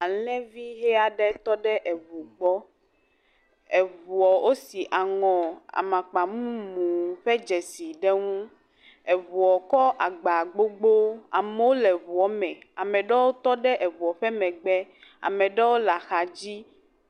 Alẽvi ʋe aɖe tɔ ɖe eŋu gbɔ. Eŋuɔ, wosi aŋɔ amakpa mumu ƒe dzesi ɖe ŋu. Eŋuɔ tsɔ agba gbogbo, amewo le ŋuɔ me. Ame ɖewo tɔ ɖe eŋɔ ƒe megbe, Ame ɖewo le axadzi.